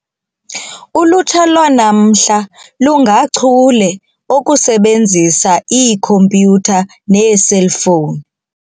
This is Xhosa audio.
Ulutsha lwanamhla lungachule okusebenzisa ikhompyutha neeselfowuni.